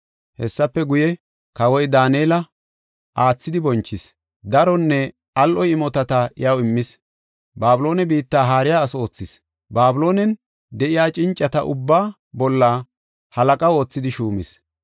Hessafe guye, kawoy Daanela aathidi bonchis; daronne al7o imotata iyaw immis. Babiloone biitta haariya ase oothis; Babiloonen de7iya cincata ubbaa bolla halaqa oothidi shuumis.